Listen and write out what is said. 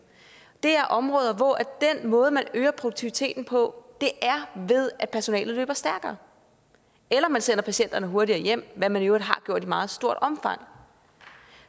det er områder hvor den måde man øger produktiviteten på er ved at personalet løber stærkere eller at man sender patienterne hurtigere hjem hvad man i øvrigt har gjort i meget stort omfang